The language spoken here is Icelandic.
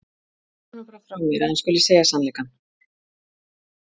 Segðu honum bara frá mér að hann skuli segja sannleikann.